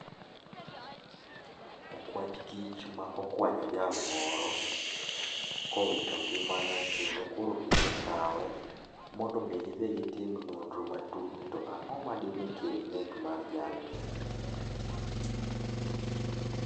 Okwach kich ma okwanyo jal moro, kowito ngimane kendo koro gisekawe mondo gidhi gitim nonro matut ni ang'o madine kel nek mar jalni